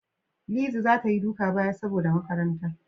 Lizzy za ta Yi duka baya saboda makaranta.